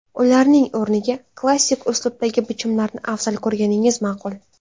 Ularning o‘rniga klassik uslubdagi bichimlarni afzal ko‘rganingiz ma’qul.